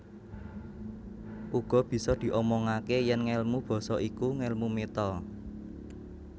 Uga bisa diomongaké yèn ngèlmu basa iku ngèlmu méta